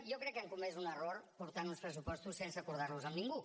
jo crec que han comès un error portant uns pressupostos sense acordarlos amb ningú